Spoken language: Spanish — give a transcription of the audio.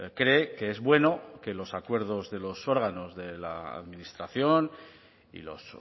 cree que es bueno que los acuerdos de los órganos de la administración y los